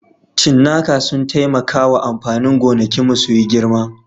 Cinnaka sun taimaka wa amfanin gonakinmu su yi girma